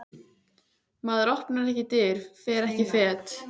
Maður opnar ekki dyr, fer ekki fet.